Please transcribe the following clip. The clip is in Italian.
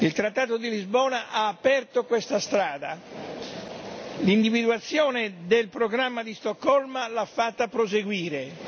Il trattato di Lisbona ha aperto questa strada e l'individuazione del programma di Stoccolma l'ha fatta proseguire.